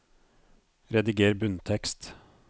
Rediger bunntekst